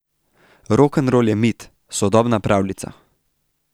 Rokenrol je mit, sodobna pravljica.